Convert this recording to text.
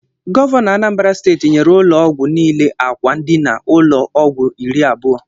Gọvanọ Anambra steeti nyèrè ụlọ ọgwụ niile ákwà ndina ụlọ ọgwụ irí abụo.